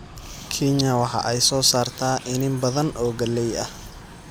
Kenya waxa ay soo saartaa iniin badan oo galley ah.